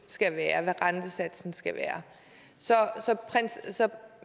skal være hvad rentesatsen skal være så